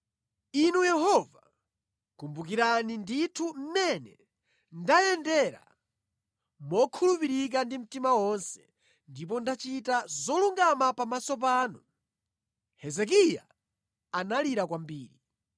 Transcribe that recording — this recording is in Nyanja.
“Inu Yehova, kumbukirani ndithu mmene ndayendera mokhulupirika ndi mtima wonse ndipo ndachita zolungama pamaso panu.” Hezekiya analira kwambiri.